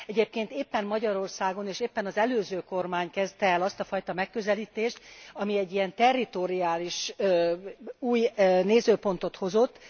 Egyébként éppen Magyarországon, és éppen az előző kormány kezdte el azt a fajta megközelítést, ami egy ilyen territoriális új nézőpontot hozott.